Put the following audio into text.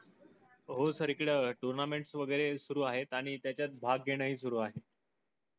हो सर. हिकड tournaments वगेरे सुरु आहेत. आणि तेझात भाग्य नाही सुरू आहेत.